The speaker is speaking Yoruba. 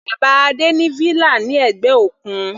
Bàbá Adé ní villa ní ẹ̀gbẹ́ òkun.